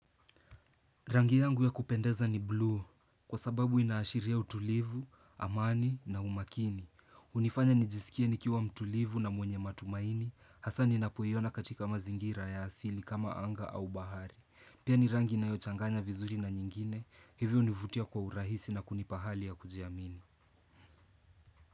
Rangi yangu ya kupendeza ni blue, kwa sababu inaashiria utulivu, amani na umakini. Hunifanya nijisikie nikiwa mtulivu na mwenye matumaini, hasa ninapoiona katika mazingira ya asili kama anga au bahari. Pia ni rangi inayochanganya vizuri na nyingine, hivyo hunivutia kwa urahisi na kunipa hali ya kujiamini.